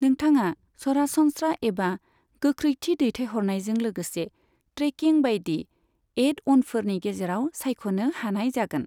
नोंथांआ सरासनस्रा एबा गोख्रैथि दैथायहरनायजों लोगोसे ट्रेकिं बायदि एड अनफोरनि गेजेराव सायख'नो हानाय जागोन।